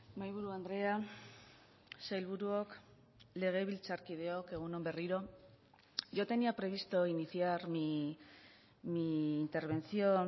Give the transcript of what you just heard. mahaiburu andrea sailburuok legebiltzarkideok egun on berriro yo tenía previsto iniciar mi intervención